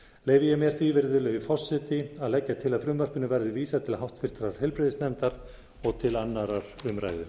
leyfi ég mér því virðulegi forseti að leggja til að frumvarpinu verði vísað til háttvirtrar heilbrigðisnefndar og til annarrar umræðu